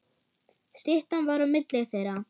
Styttan var á milli þeirra.